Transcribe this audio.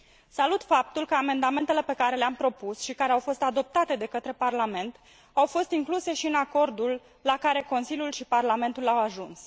Salut faptul că amendamentele pe care le am propus și care au fost adoptate de către Parlament au fost incluse și în acordul la care Consiliul și Parlamentul au ajuns.